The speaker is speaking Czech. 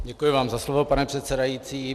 Děkuji vám za slovo, pane předsedající.